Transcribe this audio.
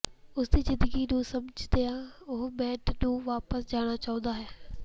ਉਸ ਦੀ ਜ਼ਿੰਦਗੀ ਨੂੰ ਸਮਝਦਿਆਂ ਉਹ ਮੈਟ ਨੂੰ ਵਾਪਸ ਜਾਣਾ ਚਾਹੁੰਦਾ ਹੈ